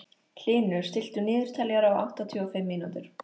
Hlynur, stilltu niðurteljara á áttatíu og fimm mínútur.